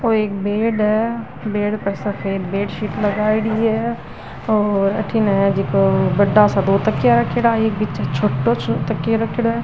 यो एक बेड है बेड पे सफ़ेद बेडशिट लगाईडी है और अठीने हे जिको बड़ा सा दो तकिया रखेडा है एक बिच में छोटो तकिया राखेड़ो है।